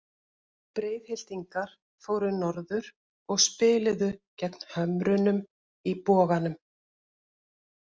Breiðhyltingar fóru norður og spiluðu gegn Hömrunum í Boganum.